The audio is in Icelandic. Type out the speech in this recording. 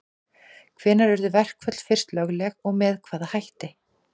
Hvenær urðu verkföll fyrst lögleg og með hvaða hætti?